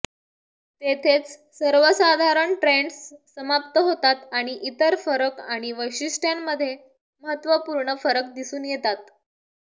तेथेच सर्वसाधारण ट्रेन्ड्स समाप्त होतात आणि इतर फरक आणि वैशिष्ट्यांमधे महत्त्वपूर्ण फरक दिसून येतात